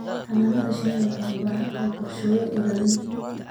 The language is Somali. Xannaanada shinnidu waxay u baahan tahay qorshooyin ilaalin.